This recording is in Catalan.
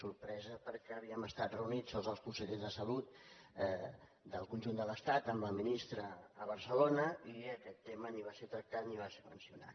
sorpresa perquè havíem estat reunits tots els consellers de salut del conjunt de l’estat amb la ministra a barcelona i aquest tema ni va ser tractat ni va ser mencionat